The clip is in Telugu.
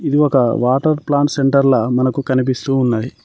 ఇది ఒక వాటర్ ప్లాంట్ సెంటర్ ల మనకు కనిపిస్తూ ఉన్నది.